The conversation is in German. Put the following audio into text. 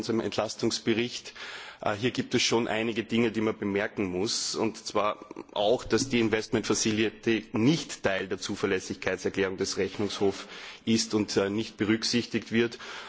Es gibt schon einige Dinge, die man bemerken muss, auch, dass die investment facility nicht Teil der Zuverlässigkeitserklärung des Rechnungshofs ist und nicht berücksichtigt wird.